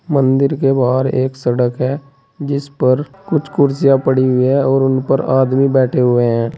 मंदिर के बाहर एक सड़क है जिस पर कुछ कुर्सियां पड़ी हुई है और उन पर आदमी बैठे हुए है।